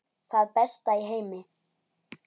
Það besta í heimi.